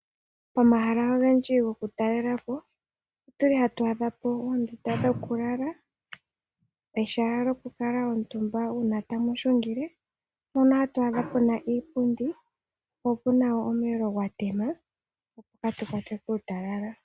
Omahala ogendji gokutalelapo otuli hatu adhapo oondunda dhokulala. Mehala lyokulala uuna tamuhilungile opuna twaadha puna iipundi po opuna wo omulio gwatema kaatu kwatwe kuutalala.